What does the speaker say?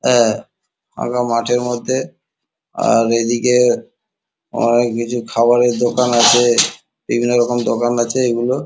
অ্যা ফাঁকা মাঠের মধ্যে আর এদিকে অনেক কিছু খাবারের দোকান আছে বিভিন্ন রকম দোকান আছে এগুলো ।